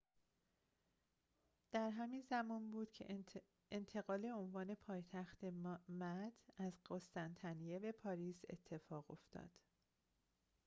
در همین زمان بود که انتقال عنوان پایتخت مد از قسطنطنیه به پاریس اتفاق افتاد